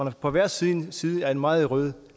er på hver sin side af en meget rød